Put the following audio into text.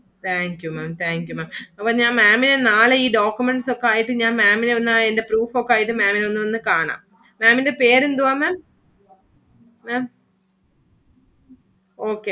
Thank you Maám Thank you Maám അപ്പം ഞാൻ Maám ഇനെ നാളെ ഈ documents ഒക്കെ ആയിട്ടു ഞാൻ Maám ഇന് ഒന്ന് അതിന്റെ proof ഒക്കെ ആയിട്ടു Maám ഇനെ ഒന്ന് വന്നു കാണാം. Maám ഇന്റെ പേരെന്തുവാ Maám? Maám Okay